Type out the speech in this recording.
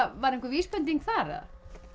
var einhver vísbending þar